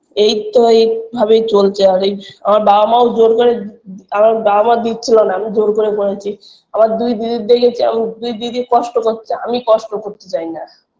এইতো এইভাবেই চলছে আর এই আমার বাবা মাও জোর করে আমার বাবা মা দিচ্ছিল না আমি জোর করে করেছি আমার দুই দিদির দেখেছি আমা দুই দিদি কষ্ট কচ্ছে আমি কষ্ট করতে চাইনা